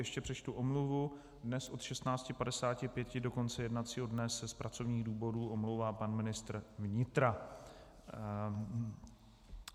Ještě přečtu omluvu: Dnes od 16.55 do konce jednacího dne se z pracovních důvodů omlouvá pan ministr vnitra.